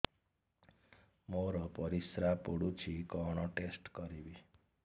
ମୋର ପରିସ୍ରା ପୋଡୁଛି କଣ ଟେଷ୍ଟ କରିବି